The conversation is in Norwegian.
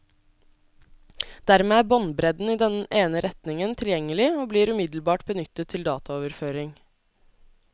Dermed er båndbredden i den ene retningen tilgjengelig og blir umiddelbart benyttet til dataoverføring.